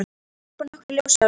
Þeir varpa nokkru ljósi á líkan